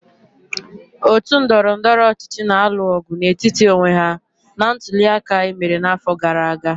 Otu ndọrọndọrọ ọchịchị na-alụ ọgụ n'etiti onwe ha na ntuli aka e mere n'afọ gara aga.